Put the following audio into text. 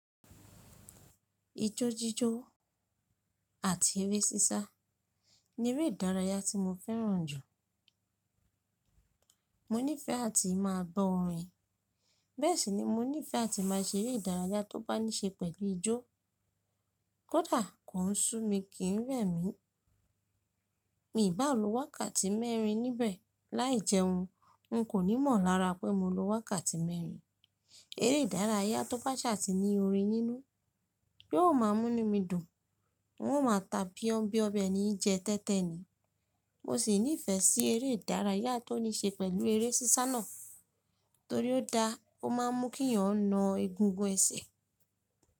Ijó jíjó àti eré sísá ní eré ìdárayá tí mo fẹ́ràn jù. Mo níìfẹ̀ àti máa gbọ́ orin bẹ́ẹ̀ sì ni mo níìfẹ̀ àti máa ṣe eré ìdárayá tó bá níṣe pẹ̀lú ijó. Kódà kò ń ṣú mi kì ń rẹ̀ mí, mi bàa lo wákàtí mẹ́rin níbẹ̀ lai jẹun. N kò ní mọ̀ lára pé mo lo wákàtí mẹ́rin. Eré ìdárayá tó bá ṣà tì ní orin nínú yiò ma mú nu mi dùn. N ó ma ta bíobio bi eni jẹ tẹ́tẹ́ ni. Mo sì níìfẹ̀ sí eré ìdárayá tó níṣe pẹ̀lú eré sísá náà torí ó da, ó ma mú kí èèyàn na egungun ẹsẹ̀.